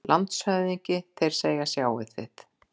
LANDSHÖFÐINGI: Þeir segja: Sjáið þið!